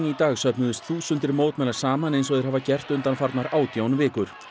í dag söfnuðust þúsundir mótmælenda saman eins og þeir hafa gert undanfarnar átján vikur